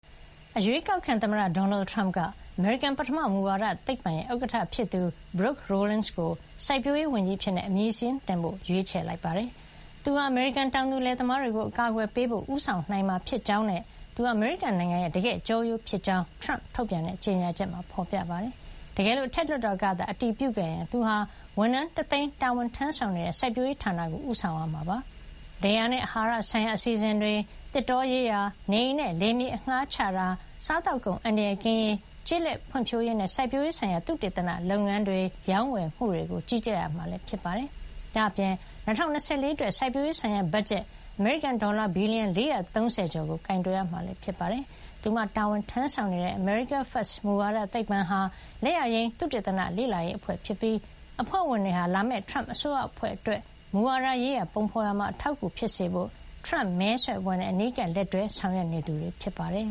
အရွေးကောက်ခံသမ္မတ ဒေါ်နယ်ထရမ့်က အမေရိကန် ပထမ မူဝါဒသိပ္ပံ AFPI ရဲ့ ဥက္ကဌဖြစ်သူ Brooke Rollins ကို စိုက်ပျိုးရေးဝန်ကြီးအဖြစ် အမည်စာရင်းတင်ဖို့ ရွေးချယ်ခဲ့ပါတယ်။ သူဟာ အမေရိကန် တောင်သူလယ်သမားတွေကို အကာကွယ်ပေးဖို့ ဦးဆောင်နိုင်မှာ ဖြစ်ကြောင်းနဲ့ သူဟာ အမေရိကန်နိုင်ငံရဲ့ တကယ့် ကျောရိုးဖြစ်ကြောင်း ထရမ့်ထုတ်ပြန်တဲ့ ကြေညာချက်မှာ ဖေါ်ပြထားပါတယ်။ တကယ်လို့ အထက်လွှတ်တော်ကသာ အတည်ပြုခဲ့ရင် သူဟာ ဝန်ထမ်း ၁ သိန်း တာဝန်ထမ်းဆောင်နေတဲ့ စိုက်ပျိုးရေးဌာနကို ဦးဆောင်ရမှာဖြစ်ပြီး လယ်ယာနဲ့ အဟာရဆိုင်ရာ အစီအစဉ်တွေ၊ သစ်တောရေးရာ၊ နေအိမ်နဲ့ လယ်ယာမြေ အငှါးချတာ၊ စားသောက်ကုန် အန္တရာယ်ကင်းရေး၊ ကျေးလက်ဖွံ့ဖြိုးရေးနဲ့ စိုက်ပျိုးရေးဆိုင်ရာ သုတေသနလုပ်ငန်းတွေ၊ ရောင်းဝယ်မှုတွေကို ကြီးကြပ်ရမှာ ဖြစ်ပါတယ်။ ဒါ့အပြင် ၂၀၂၄ အတွက် စိုက်ပျိုးရေးဆိုင်ရာ ဘတ်ဂျက် အမေရိကန် ဒေါ်လာ ဘီလီယံ ၄၃၀ ကျော်ကို ကိုင်တွယ်ရမှာ လည်း ဖြစ်ပါတယ်။ သူမတာဝန်ထမ်းဆောင်နေတဲ့ America First မူဝါဒသိပ္ပံဟာ လက်ယာယိမ်း သုတေသန လေ့လာရေးအဖွဲ့ ဖြစ်ပြီး အဖွဲ့ဝင်တွေဟာ လာမယ့် ထရမ့်အစိုးရအဖွဲ့အတွက် မူဝါဒရေးရာ ပုံဖေါ်ရာမှာ အထောက်အကူ ဖြစ်စေဖို့ ထရမ့်မဲဆွယ်အဖွဲ့နဲ့ အနီးကပ် လက်တွဲဆောင်ရွက်နေသူတွေ ဖြစ်ပါတယ်